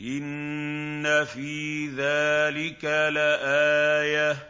إِنَّ فِي ذَٰلِكَ لَآيَةً ۖ